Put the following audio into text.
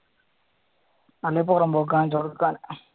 അല്ലങ്കിൽ പുറമ്പോക്ക് കാണിച്ച് കൊടുക്കാൻ